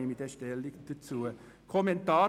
Ich werde dazu Stellung nehmen.